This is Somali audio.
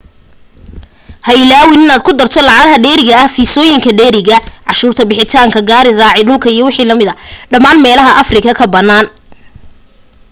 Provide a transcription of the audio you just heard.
ha ilaawin in aad ku darto lacagaha dheeriga fiisoyinka dheeriga canshuurta bixitaanka gaari raaca dhulka iwm dhamaan meelaha africa ka banaanka